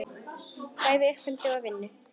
Bæði í uppeldi og vinnu.